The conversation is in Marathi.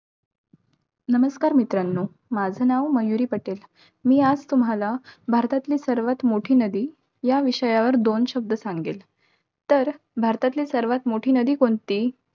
नमस्कार मित्रांनो. माझं नाव मयुरी पटेल. मी आज तुम्हाला भारतातील सर्वात मोठी नदी, या विषयावर दोन शब्द सांगेल. तर भारतातली सर्वात मोठी नदी कोणती?